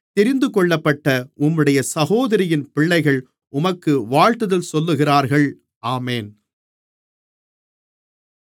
தெரிந்துகொள்ளப்பட்ட உம்முடைய சகோதரியின் பிள்ளைகள் உமக்கு வாழ்த்துதல் சொல்லுகிறார்கள் ஆமென்